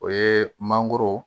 O ye mangoro